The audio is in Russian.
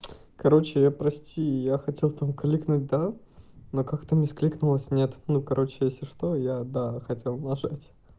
короче я прости я хотел там кликнуть да но как-то с кликнулось нет ну короче если что я да хотел нажать